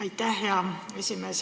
Aitäh, hea esimees!